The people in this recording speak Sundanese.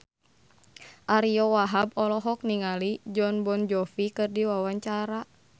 Ariyo Wahab olohok ningali Jon Bon Jovi keur diwawancara